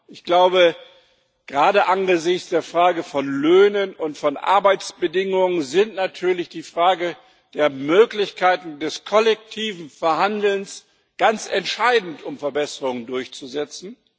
Ich glaube, gerade angesichts der Frage von Löhnen und Arbeitsbedingungen ist natürlich die Frage der Möglichkeiten des kollektiven Verhandelns ganz entscheidend, um Verbesserungen durchzusetzen.